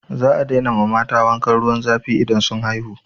Za a daina ma mata wankan ruwan zafi idan sun haihu.